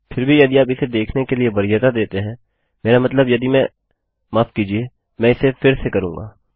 फिर भी यदि आप इसे देखने के लिए वरीयता देते हैं मेरा मतलब यदि मैं माफ़ कीजिये मैं इसे फिर से करूँगा